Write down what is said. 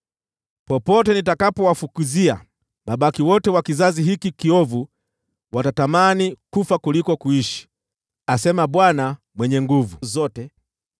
Popote nitakapowafukuzia, mabaki wote wa kizazi hiki kiovu watatamani kufa kuliko kuishi, asema Bwana Mwenye Nguvu Zote.’